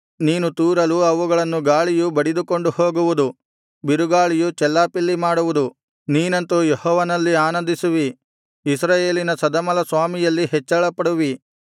ನೀನು ತೂರಲು ಅವುಗಳನ್ನು ಗಾಳಿಯು ಬಡಿದುಕೊಂಡು ಹೋಗುವುದು ಬಿರುಗಾಳಿಯು ಚೆಲ್ಲಾಪಿಲ್ಲಿ ಮಾಡುವುದು ನೀನಂತೂ ಯೆಹೋವನಲ್ಲಿ ಆನಂದಿಸುವಿ ಇಸ್ರಾಯೇಲಿನ ಸದಮಲಸ್ವಾಮಿಯಲ್ಲಿ ಹೆಚ್ಚಳಪಡುವಿ